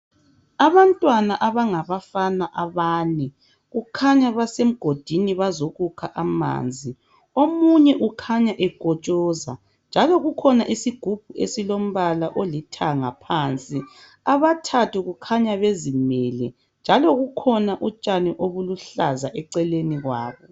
Abantwana abangabafana abane kukhanya basemgodini bazokukha amanzi omunye ukhanya ekotshoza njalo kukhona izigubhu ezilombala olithanga phandle. Abathathu kukhanya bezimele njalo kukhona utshani obuluhlaza eceleni kwabo